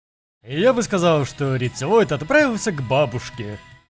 я бы сказала что рептилоид отправился к бабушке